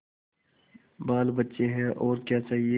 बालबच्चे हैं और क्या चाहिए